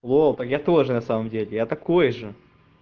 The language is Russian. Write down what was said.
вот так я тоже на самом деле я такой же